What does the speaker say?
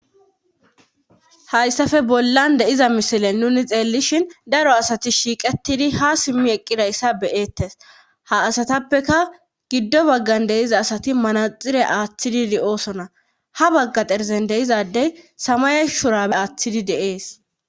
hayssafe bollan de'iza misilen nuni xeellishin daro asati shiiqetidi ha simmi eqqidayssa be'ettes ha asatappeka giddo baggan deiza asati manaxire aaththidi de7oosona ha bagga xerzen deizadey samaya shurape aaththidi de'ees